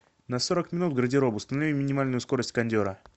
на сорок минут гардероб установи минимальную скорость кондера